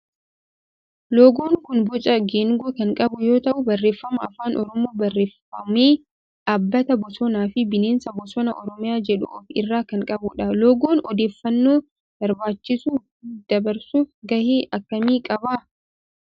Loogoon kun boca geengoo kan qabu yoo ta'u barreeffama afaan oromoon barreeffame dhaabbata bosonaa fi bineensa bosonaa oromiyaa jedhu of irraa kan qabudha. Loogoon odeeffannoo barbaachisu dabarsuuf gahee akkamii qaba?